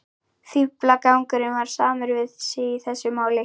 Fíflagangurinn var samur við sig í þessu máli.